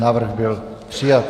Návrh byl přijat.